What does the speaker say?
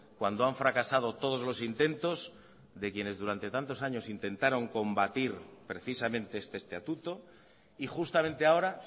cuando han fracasado todos los intentos de quienes durante tantos años intentaron combatir precisamente este estatuto y justamente ahora